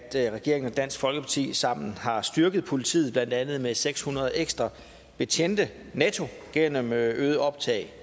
regeringen og dansk folkeparti sammen har styrket politiet blandt andet med seks hundrede ekstra betjente netto gennem øget optag